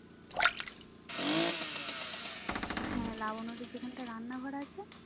হ্যাঁ লাবণ্যদের যেখানটা রান্নাঘর আছে